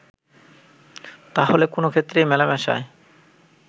তাহলে কোন ক্ষেত্রেই মেলামেশায়